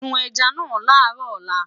sùn ẹja nà laro òla